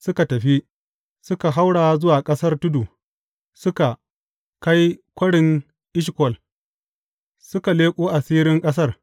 Suka tafi, suka haura zuwa ƙasar tudu, suka kai Kwarin Eshkol, suka leƙo asirin ƙasar.